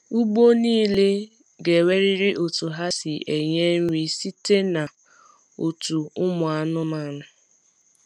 Ugbo nile ga enwerịrị otu ha si enye nri site na otu ụmụ anụmanụ